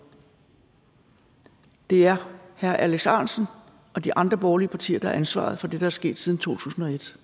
det er herre alex ahrendtsen og de andre borgerlige partier der har ansvaret for det er sket siden to tusind og et